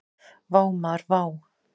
Vá maður vá!